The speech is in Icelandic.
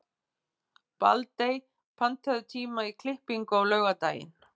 Baldey, pantaðu tíma í klippingu á laugardaginn.